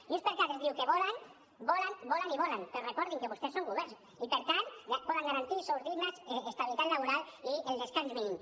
junts per cat ens diu que volen volen volen i volen però recordin que vostès són govern i per tant poden garantir sous dignes estabilitat laboral i el descans mínim